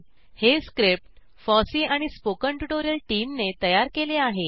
हे script FOSSEE आणि spoken tutorial टीमने तयार केले आहे